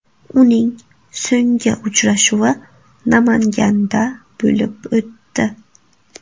Uning so‘nggi uchrashuvi Namanganda bo‘lib o‘tdi.